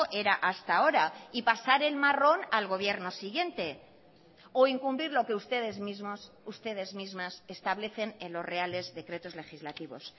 era hasta ahora y pasar el marrón al gobierno siguiente o incumplir lo que ustedes mismos ustedes mismas establecen en los reales decretos legislativos